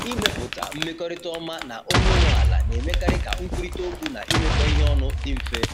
Ịmepụta mmekọrịta ọma na onye nwe ala na-emekarị ka nkwurịta okwu na imekọ ihe ọnụ dị mfe.